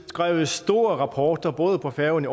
skrevet store rapporter både på færøerne